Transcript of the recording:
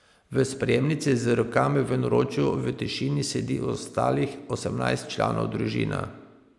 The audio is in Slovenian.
V sprejemnici z rokami v naročju v tišini sedi ostalih osemnajst članov družine.